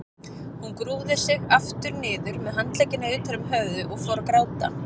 Hún grúfði sig aftur niður með handleggina utan um höfuðið og fór að gráta.